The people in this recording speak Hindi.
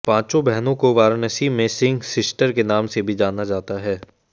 पांचों बहनों को वाराणसी में सिंह सिस्टर्स के नाम से भी जाना जाता है